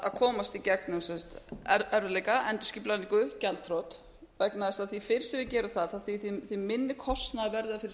að komast í gegnum erfiðleika endurskipulagningu gjaldþrot vegna þess að því fyrr sem við gerum það því minni kostnaður verður það fyrir